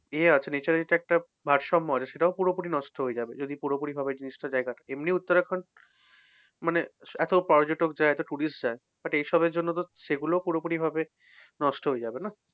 ইয়ে আছে nature এরতো একটা ভারসাম্য আছে। সেটাও পুরোপুরি নষ্ট হয়ে যাবে। যদি পুরোপুরিভাবে জিনিসটা এমনি উত্তরাখন্ড মানে এত পর্যটক যায়, এত tourist যায় but এসবের জন্যতো সেগুলোও পুরপুরিভাবে নষ্ট হয়ে যাবে না?